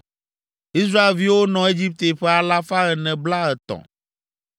Israelviwo nɔ Egipte ƒe alafa ene blaetɔ̃ (430).